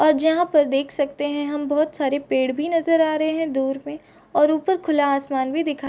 और जहाँ पर देख सकते हैं हम बहुत सारे पेड़ भी नजर आ रहे हैं दूर में और ऊपर खुला आसमान भी दिखा --